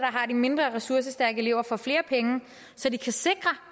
har de mindre ressourcestærke elever får flere penge så de kan sikre